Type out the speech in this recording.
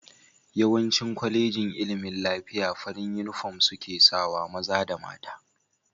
Yawancin kolejin ilimin lafiya farin inufom seka sawa, maza da mta